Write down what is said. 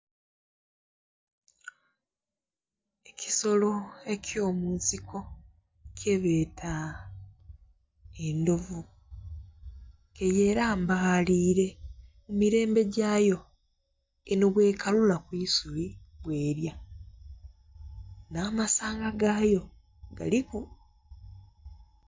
Ekisolo ekyomunsiko kyebeeta endhovu ke yerambalire mumirembe gyayo eno bwekalula ku isubi bwelya n'amasanga gayo galiku.